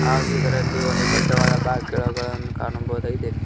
ಹಾಗು ಇದರಲ್ಲಿ ಒಂದು ದೊಡ್ಡವಾದ ಬಾಕಿಲುಗಳನ್ನು ಕಾಣಬಹುದಾಗಿದೆ.